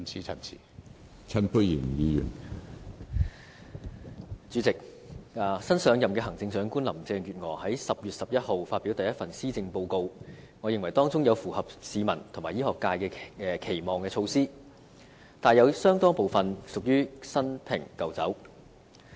主席，新上任的行政長官林鄭月娥在10月11日發表第一份施政報告，我認為當中有符合市民和醫學界期望的措施，但亦有相當部分屬於新瓶舊酒。